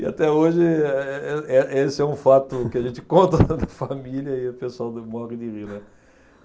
E até hoje eh, eh, eh esse é um fato que a gente conta na família e o pessoal morre de rir, né.